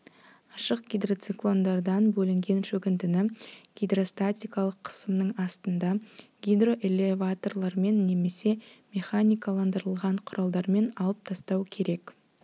ашық гидроциклондардан бөлінген шөгіндіні гидростатикалық қысымның астында гидроэлеваторлармен немесе механикаландырылған құралдармен алып тастау керек